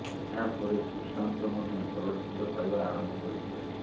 ଏହା ପରେ ସୁଶାନ୍ତ ମଧ୍ୟ ଚଳଚ୍ଚିତ୍ର ପାଇବା ଆରମ୍ଭ କରିଥିଲେ